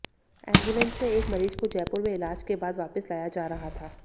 ambulance में एक मरीज को जयपुर में इलाज के बाद वापिस लाया जा रहा था